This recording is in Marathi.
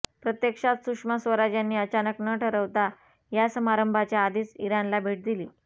प्रत्यक्षात सुषमा स्वराज यांनी अचानक न ठरवता या समारंभाच्या आधीच इराणला भेट दिली